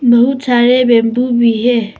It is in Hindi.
बहुत सारे बेम्बू भी है।